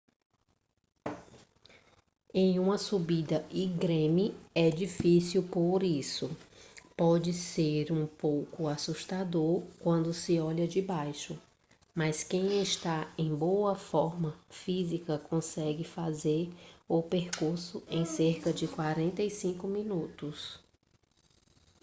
é uma subida íngreme e difícil por isso pode ser um pouco assustador quando se olha de baixo mas quem está em boa forma física consegue fazer o percurso em cerca de 45 minutos